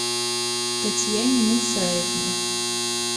татьяне мусаевне